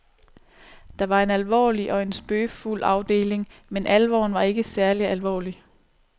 Der var en alvorlig og en spøgefuld afdeling, men alvoren var ikke særlig alvorlig.